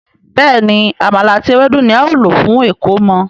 Béèni Àmàlà àti Ewédú ní ào ló fún ẹkọmọ.